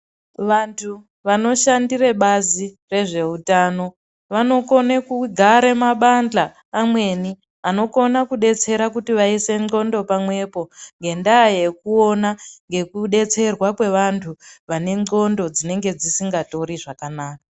Vanthu vanoshandire bazi rezveutano vanokone kugara mabandla amweni anokona kubatsira kuti vaise ndxondo pamwepo ngendaa yekuona ngekudetserwa kwevanthu vane ndxondo dzinenge dzisingatori zvakanaka.